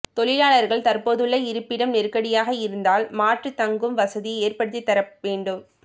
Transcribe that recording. தொழிலாளர்கள் தற்போதுள்ள இருப்பிடம் நெருக்கடியாக இருந்தால் மாற்று தங்கும் வசதி ஏற்படுத்தி தர வேண்டும்